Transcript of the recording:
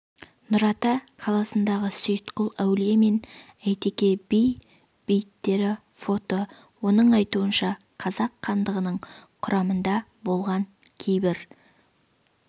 нұрата қаласындағы сейітқұл әулие мен әйтеке би бейіттері фото оның айтуынша қазақ хандығының құрамында болған кейбір